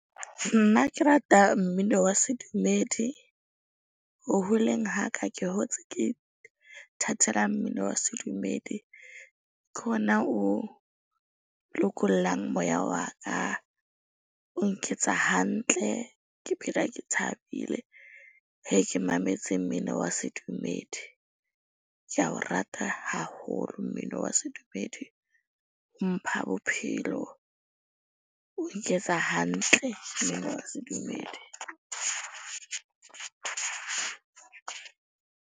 Nna ke rata mmino wa sedumedi ho holeng ha ka ke hotse ke ithatela mmino wa sedumedi. Ke hona o lokollang moya wa ka. O nketsa hantle. Ke phela ke thabile he ke mametse mmino wa sedumedi. Ke a o rata haholo mmino wa sedumedi. O mpha bophelo o nketsa hantle mmino wa sedumedi.